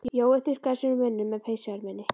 Jói þurrkaði sér um munninn með peysuerminni.